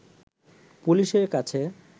পুলিশের কাছে